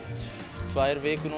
tvær vikur